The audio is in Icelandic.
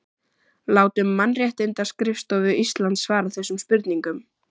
Látum Mannréttindaskrifstofu Íslands svara þessum spurningum